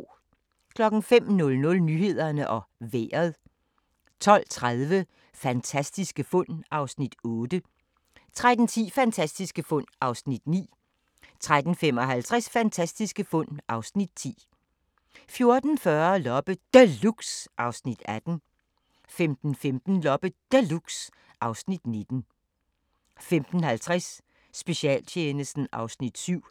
05:00: Nyhederne og Vejret 12:30: Fantastiske fund (Afs. 8) 13:10: Fantastiske fund (Afs. 9) 13:55: Fantastiske fund (Afs. 10) 14:40: Loppe Deluxe (Afs. 18) 15:15: Loppe Deluxe (Afs. 19) 15:50: Specialtjenesten (Afs. 7)